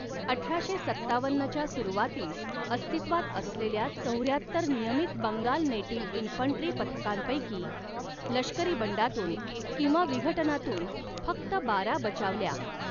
अठराशे सत्तावन्नच्या सुरूवातीस अस्तित्वात असलेल्या चौऱ्याहत्तर नियमित बंगाल नेटिव्ह इन्फंट्री पथकांपैकी, लष्करी बंडातून किंवा विघटनातून फक्त बारा बचावल्या.